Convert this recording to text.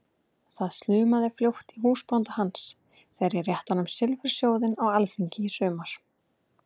Það slumaði fljótt í húsbónda hans þegar ég rétti honum silfursjóðinn á alþingi í sumar!